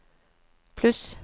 pluss